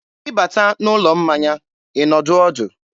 ị bata n'ụlọ mmanya, ị nọdụ ọdụ.